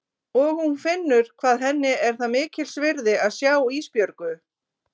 Og hún finnur hvað henni er það mikils virði að sjá Ísbjörgu.